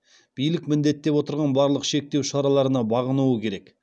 билік міндеттеп отырған барлық шектеу шараларына бағынуы керек